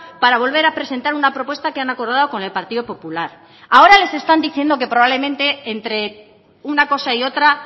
para volver a presentar una propuesta que han acordado con el partido popular ahora les están diciendo que probablemente entre una cosa y otra